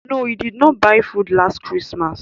No, he did not buy food last christmas